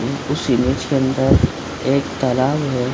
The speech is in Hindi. उस इमेज के अंदर एक तालाब है।